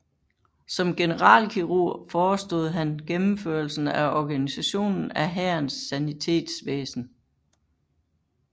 Som generalkirurg forestod han gennemførelsen af organisationen af hærens sanitetsvæsen